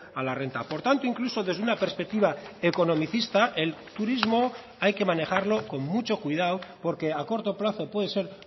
a la renta por tanto incluso desde una perspectiva economicista el turismo hay que manejarlo con mucho cuidado porque a corto plazo puede ser